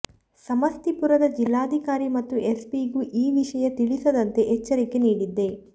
ಸಮಸ್ತೀಪುರದ ಜಿಲ್ಲಾಧಿಕಾರಿ ಮತ್ತು ಎಸ್ಪಿಗೂ ಈ ವಿಷಯ ತಿಳಿಸದಂತೆ ಎಚ್ಚರಿಕೆ ನೀಡಿದ್ದೆ